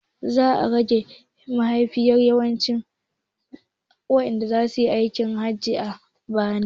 Za a rage yawan mahajjatan da zasuyi aikin hajji a bana